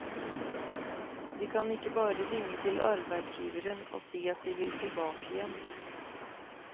De kan ikke bare ringe til arbeidsgiveren og si at de vil tilbake igjen.